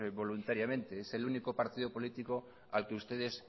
voluntariamente es el único partido político al que ustedes